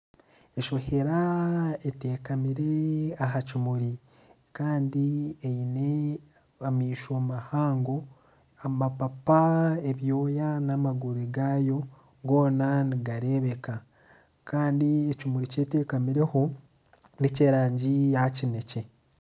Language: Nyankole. Enshohera etekamire aha kimuri Kandi eine amaisho mahango, amapapa ebyooya n'amaguru gaayo goona nigareebeka Kandi ekimuri eki etekamireho n'ekyerangi ya kinekye.